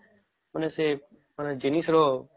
ମାନେ ସେ ମାନେ ଜିନିଷ ର